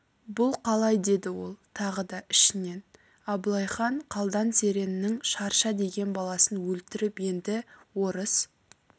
бұл қалай деді ол тағы да ішінен абылайхан қалдан сереннің шарша деген баласын өлтіріп енді орыс